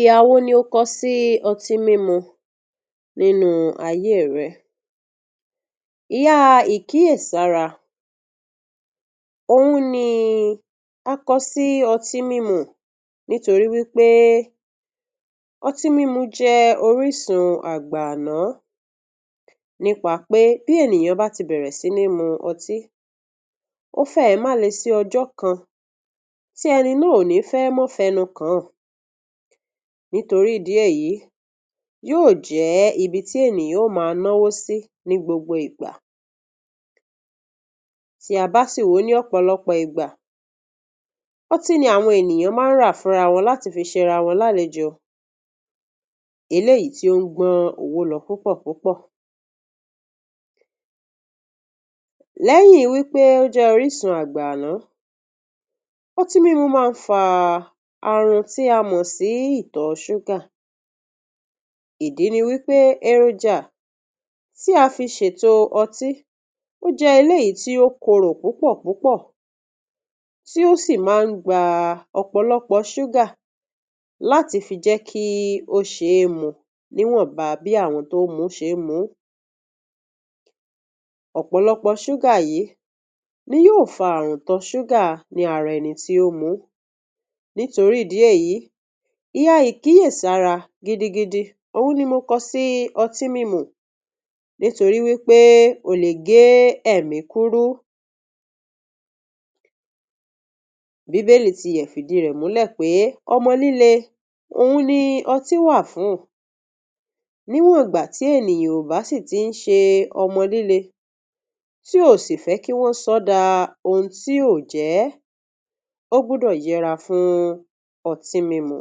Ìhà wo ni ò kó sì Ọtí-mímu nínú ayé rẹ. Ìhà Ìkíyèsára náà ni mo kó sì Ọtí-mímu nítorí wípé ọtí-mímu jẹ́ orísun àgbáànáà nípa pé bí ènìyàn bá ti bẹ́rẹ̀ sí ní mímu Ọtí, ó fẹ̀ má lè sì ọjọ́ kan tí ẹni náà ò ní fẹ́ mọ́fẹ́nù kan. Nítorí ìdí èyí yó jẹ́ ibi tí ènìyàn ò máa na wò sí ní gbogbo ìgbà. Tí a bá sọ wípé òpòlopọ̀ ìgbà, ọtí ni àwọn ènìyàn máa rà fúnra wọn láti fi ṣe rawọ̀ làlejò, èyí tí ó ń gbón owó lọ púpọ̀ púpọ̀. Léyìn wípé ó jẹ́ orísun àgbáànáà, ọtí mímu máa ń fà àrùn tí a mọ̀ sí ìtọ̀ súgà. Ìdí nìyí tí eròjà tí a fi ṣe ọtí ò jẹ́ èyí tí ó kórò púpọ̀ púpọ̀, tí ó sì máa gba òpòlopọ̀ súgà láti fi jẹ́ kí ó ṣèyùn mu, ni wọ́n bá bì àwọn tó ń mu ṣe mú. Òpòlopọ̀ súgà yìí ni yó fà àrùn ìtọ̀ súgà nínú ara ènì tí ó mú. Nítorí ìdí èyí, ìhà Ìkíyèsára gígbẹ̀gí tí ọ̀hún ni mo kó sí Ọtí-mímu. Nítorí wípé ó lè gé ẹ̀mí kúrò. Bíbélì tún lè fìdí rẹ̀ múlẹ̀ pé ọmọlílẹ̀, ọ̀hún ni ọtí wà fún, ní wọ́n gbà, tí ènìyàn bá sì ti ń ṣe ọmọlílẹ̀ tí ó sì fẹ́ kí wọ́n sọ̀ dá ohun tí ó jẹ́. Ó gbọ́dọ̀ yẹ̀ra fún ọtí mímu.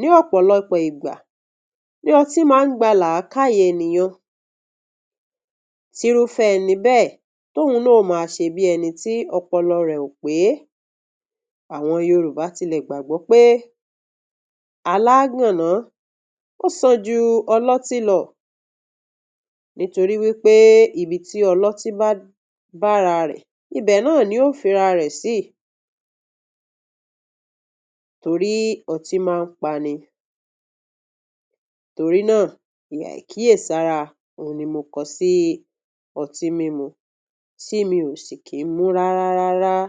Ní ọ̀pọ̀ ìgbà ni ọtí máa ń gba làákàyè ènìyàn. Tí rú ìfẹ́ níbẹ̀, tóun náà ò máa ṣe bí ẹni tí ọpọlọ rẹ̀ pé. Àwọn Yorùbá tún lẹ̀ gbàgbọ́ pé alágànà ò sànjú ọlọ́tí lọ. Nítorí wípé ibi tí ọlọ́tí bá bà ara rẹ̀, ibẹ̀ náà ni yóò fi rà rẹ̀ sí. Torí ọtí máa ń pa ènìyàn. Torí náà, ìhà Ìkíyèsára ọ̀hún ni mo kó sì Ọtí-mímu tí mí ò sì kì í mú rárá rárá rárá.